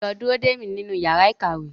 Lọ dúró dè mí nínú yàrá ìkàwé!